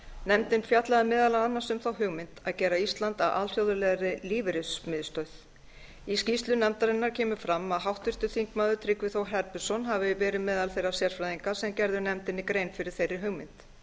nefndin fjallaði meðal annars um þá hugmynd að gera ísland að alþjóðlegri lífeyrismiðstöð í skýrslu nefndarinnar kom fram að háttvirtur þingmaður tryggvi þór herbertsson hafi verið meðal þeirra sérfræðinga sem gerðu nefndinni grein fyrir þeirri hugmynd